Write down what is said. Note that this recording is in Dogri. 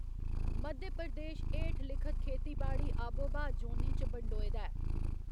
मध्य प्रदेश हेठलिखत खेतीबाड़ी आबोब्हा जोनें च बंडोए दा ऐ।